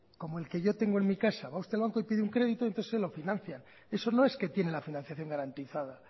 como el que yo tengo en mi casa va usted al banco y pide un crédito entonces se lo financian eso no es que tiene la financiación garantizada